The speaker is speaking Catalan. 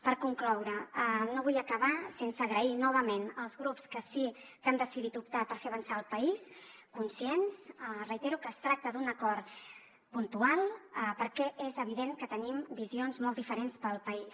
per concloure no vull acabar sense donar les gràcies novament als grups que sí que han decidit optar per fer avançar el país conscients ho reitero que es tracta d’un acord puntual perquè és evident que tenim visions molt diferents per al país